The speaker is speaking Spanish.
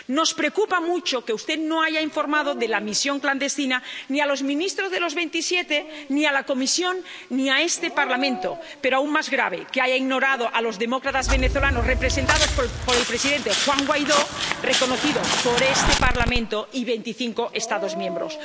Nos preocupa mucho que usted no haya informado de la misión clandestina ni a los ministros de los veintisiete, ni a la Comisión, ni a este Parlamento, pero aún más grave es que haya ignorado a los demócratas venezolanos representados por el presidente Juan Guaidó, reconocido por este Parlamento y veinticinco Estados miembros.